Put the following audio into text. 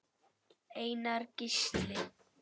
Einar Gísli.